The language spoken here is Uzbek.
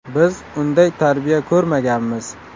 Biz unday tarbiya ko‘rmaganmiz.